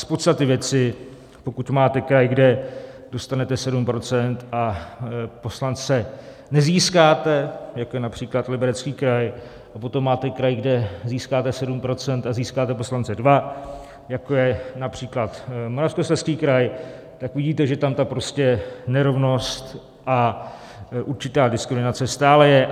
Z podstaty věci, pokud máte kraj, kde dostanete 7 % a poslance nezískáte, jako je například Liberecký kraj, a potom máte kraj, kde získáte 7 % a získáte poslance dva, jako je například Moravskoslezský kraj, tak vidíte, že tam ta prostě nerovnost a určitá diskriminace stále je.